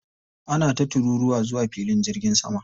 Ana ta tururuwa zuwa filin jirgin sama.